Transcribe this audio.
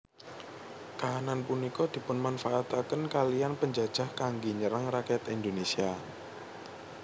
Kahanan punika dipunmanfaataken kaliyan penjajah kanggé nyerang rakyat Indonésia